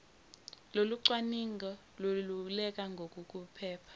lokucwaninga leluleke ngokuphepha